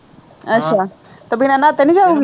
ਅੱਛਾ ਤੇ ਬਿਨ੍ਹਾਂ ਨਹਾਤੇ ਨਹੀਂ ਜਾ